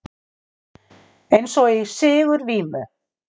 Eins og í sigurvímu.